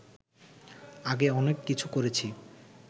আগে অনেক কিছু করেছি